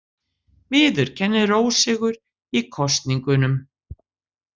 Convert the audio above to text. Viðurkennir ósigur í kosningunum